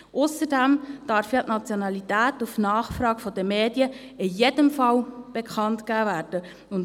Ausserdem darf die Nationalität auf Nachfrage der Medien in jedem Fall bekannt gegeben werden.